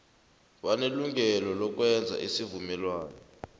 banelungelo lokwenza isivumelwano